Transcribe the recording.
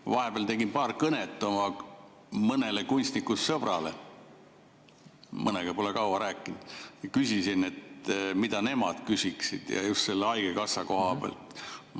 Ma vahepeal tegin paar kõnet mõnele kunstnikust sõbrale, mõnega pole kaua rääkinud, küsisin, mida nemad küsiksid, just selle haigekassa koha pealt.